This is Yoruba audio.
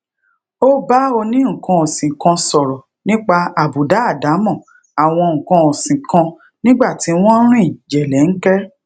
o bá oni nnkan osin kan sọrọ nipa abuda adamo awon nnkan osin kan nigba ti won n rin jelenke